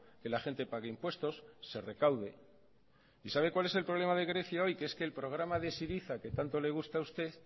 que la gente pague impuestos se recaude y sabe cuál es el problema de grecia hoy que es el que programa de syriza que tanto le gusta a usted